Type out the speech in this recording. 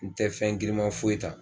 N tɛ fɛn girinma foyi ta